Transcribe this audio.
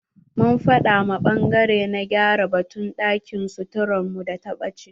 Mun faɗa ma ɓangare na gyara batun ɗakin suturar mu da ta ɓache.